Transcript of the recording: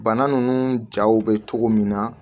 Bana ninnu jaw bɛ cogo min na